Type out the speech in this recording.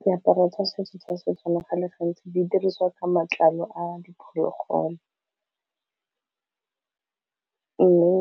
Diaparo tsa setso tsa Setswana go le gantsi di diriwa ka matlalo a diphologolo mme